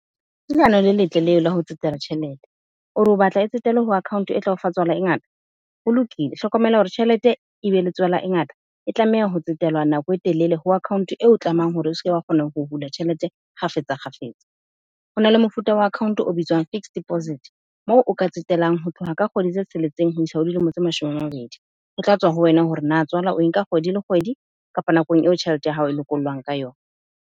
Ke leano le letle leo la ho tsetela tjhelete. O re o batla e tsetelwe o account e tla o fa tswala e ngata. Ho lokile, hlokomela hore tjhelete e be le tswala e ngata e tlameha ho tsetelwa nako e telele ho account eo tlamehang hore o seke wa kgona ho hula tjhelete, kgafetsa kgafetsa. Hona le mofuta wa account o bitswang fixed deposit. Moo o ka tsetelang ho tloha ka kgwedi tse tsheletseng ho isa ho dilemo tse mashome a mabedi. Ho tla tswa ho wena hore na tswala o enka kgwedi le kgwedi kapa nakong eo tjhelete ya hao e lokolohang ka yona.